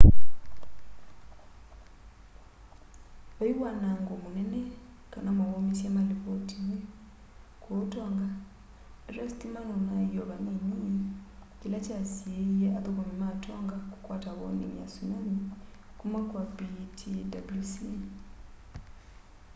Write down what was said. vai wanango munene kana mauumisye malivotiwa kuu tonga ateo sitima nunaie o vanini kila kyasiie athukumi ma tonga kukwata warning ya tsunami kuma kwa ptwc